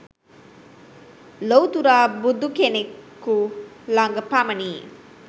ලොව්තුරා බුදුකෙනෙකු ළඟ පමණි